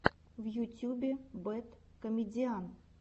в ютюбе бэд комедиан